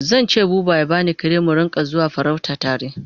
Zan ce buba ya bani kare mu Rinka zuwa farauta tare